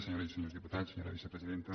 senyores i senyors diputats senyora vicepresidenta